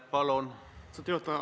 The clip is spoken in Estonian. Aitäh, lugupeetud juhataja!